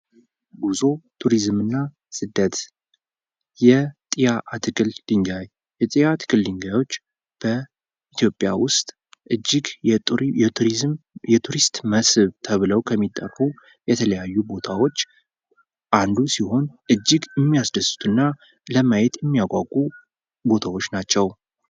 ጉዞ ቱሪዝም እና ስደት ። የጥያ ትክል ድንጋይ የጥያ ትክል ድንጋዮች በኢትዮጵያ ውስጥ እጅግ የቱሪስት መስህብ ተብለው ከሚጠሩ የተለያዩ ቦታዎች አንዱ ሲሆን እጅግ ሚያስደስቱ እና ለማያት ሚያጓጉ ቦታዎች ናቸው ።